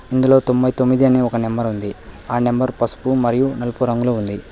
ఇందులో తొంబై తొమ్మిది అని ఒక నెంబర్ ఉంది. ఆ నెంబర్ పసుపు మరియు నలుపు రంగులో ఉంది.